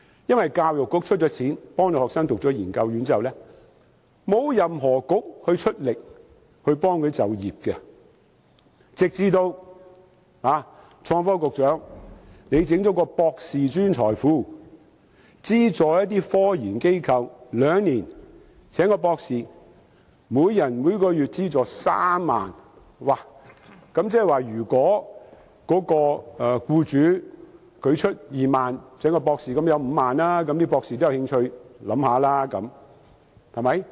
因為教育局資助學生修讀研究院後，沒有任何政策局協助他們就業，直至創新及科技局最近成立"博士專才庫"，資助科研機構聘請一名博士兩年，每人每月資助3萬元，即是如果僱主支付2萬元，合共便有5萬元，博士便有興趣考慮。